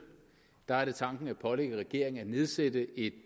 er er det tanken at pålægge regeringen at nedsætte en